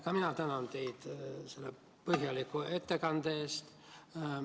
Ka mina tänan teid selle põhjaliku ettekande eest.